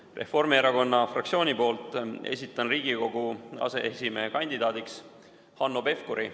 Esitan Reformierakonna fraktsiooni nimel Riigikogu aseesimehe kandidaadiks Hanno Pevkuri.